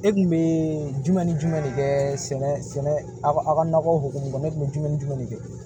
E kun bee jumɛn ni jumɛn de kɛ sɛnɛ aw ka nɔgɔ hokumu kɔnɔ ne kun be jumɛn ni jumɛn de kɛ